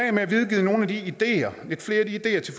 af med at videregive nogle af de ideer til